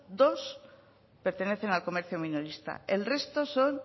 dos pertenecen al comercio minorista el resto son